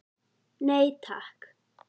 Nei takk.